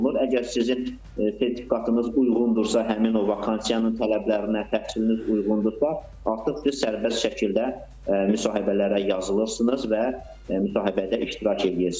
Əgər sizin sertifikatınız uyğundursa həmin o vakansiyanın tələblərinə, təhsiliniz uyğundursa, artıq siz sərbəst şəkildə müsahibələrə yazılırsınız və müsahibədə iştirak eləyirsiniz.